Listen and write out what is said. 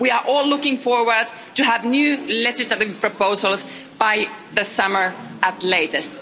We are all looking forward to having new legislative proposals by the summer at the latest.